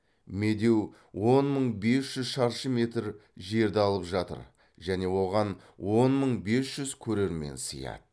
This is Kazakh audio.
медеу он мың бес жүз шаршы метр жерді алып жатыр және оған он мың бес жүз көрермен сияды